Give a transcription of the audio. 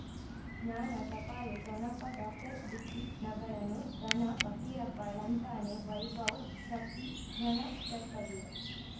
ಜ್ಞಾನ ಟಪಾಲು ಠೊಣಪ ಡಾಕ್ಟರ್ ಢಿಕ್ಕಿ ಣಗಳನು ಧನ ಫಕೀರಪ್ಪ ಳಂತಾನೆ ವೈಭವ್ ಶಕ್ತಿ ಝಣ ಷಟ್ಪದಿಯ